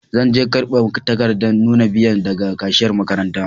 Zan je karban takadan nuna biya daga kashiyar makaranta.